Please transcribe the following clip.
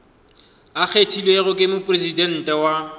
a kgethilwego ke mopresidente wa